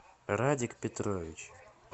радик петрович